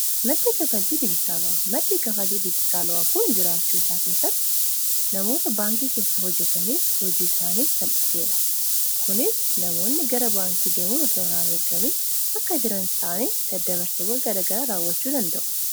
maddii kafaaltii dijiitaalo'a maddii kafaaltii dijiitaala'oo kun jiraachuu isaa keessatti namoota baankii keessa hojjataniif hojii isaaniif salphiseera kuunis namoonni gara baankii deemun osoo irraa in eeggamiin bakka jiraan ta'anii daddabarsiwwan garagara raawwachuu danda'u.